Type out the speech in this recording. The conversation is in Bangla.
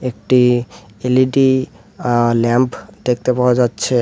একটি এল_ই_ডি আঃ ল্যাম্ফ দেখতে পাওয়া যাচ্ছে।